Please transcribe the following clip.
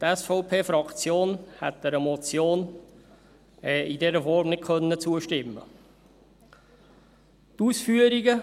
Die SVP-Fraktion hätte einer Motion in dieser Form nicht zustimmen können.